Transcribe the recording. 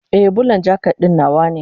Ee, Bulan jaket ɗin nawa ne.